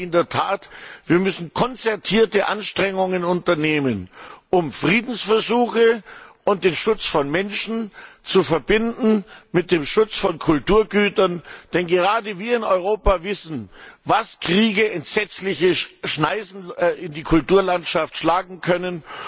Ich glaube in der Tat, wir müssen konzertierte Anstrengungen unternehmen, um Friedensversuche und den Schutz von Menschen mit dem Schutz von Kulturgütern zu verbinden. Denn gerade wir in Europa wissen, welch entsetzliche Schneisen Kriege in die Kulturlandschaft schlagen können.